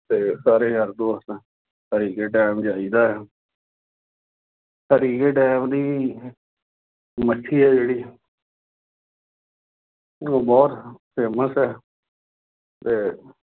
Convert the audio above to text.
ਅਤੇ ਸਾਰੇ ਯਾਰ ਦੋਸਤ ਹਰੀਕੇ ਡੈਮ ਜਾਈ ਦਾ ਹੈ। ਹਰੀਕੇ ਡੈਮ ਦੀ ਮੱਛੀ ਹੈ ਜਿਹੜੀ ਉਹ ਬਹੁਤ famous ਹੈ। ਅਤੇ